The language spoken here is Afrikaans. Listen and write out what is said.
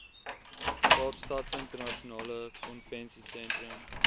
kaapstadse internasionale konvensiesentrum